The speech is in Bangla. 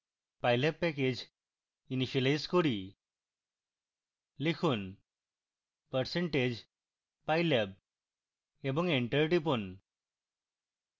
pylab প্যাকেজ ইনিসিয়েলাইজ করি